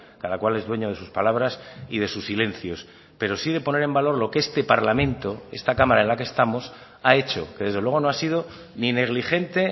cada cual es dueño de sus palabras y de sus silencios pero sí de poner en valor lo que este parlamento esta cámara en la que estamos ha hecho que desde luego no ha sido ni negligente